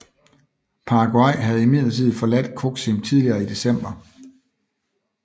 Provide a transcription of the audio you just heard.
Paraguay havde imidlertid forladt Coxim tidligere i december